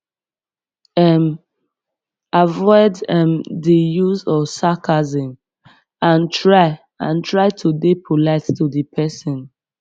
um avoid um di use of sarcasm and try and try to dey polite tu di person